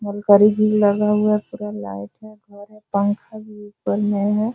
लगा हुआ पूरा लाइट है घर है पंखा भी है ऊपर में है।